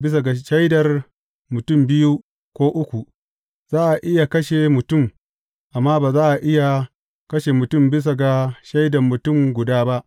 Bisa ga shaidar mutum biyu ko uku, za a iya kashe mutum, amma ba za a iya kashe mutum bisa ga shaida mutum guda ba.